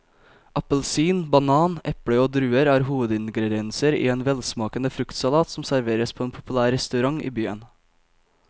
Appelsin, banan, eple og druer er hovedingredienser i en velsmakende fruktsalat som serveres på en populær restaurant i byen.